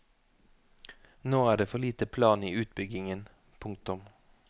Nå er det for lite plan i utbyggingen. punktum